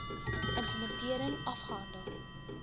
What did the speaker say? im plementering afgehandel